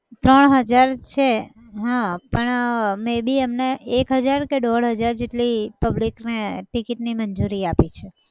ત્રણ હજાર છે હા પણ may be એમને એક હજાર કે દોઢ હજાર જેટલી public ને ticket ની મંજૂરી આપી છે.